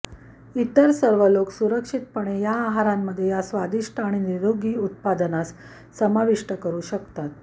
इतर सर्व लोक सुरक्षितपणे या आहारांमध्ये या स्वादिष्ट आणि निरोगी उत्पादनास समाविष्ट करू शकतात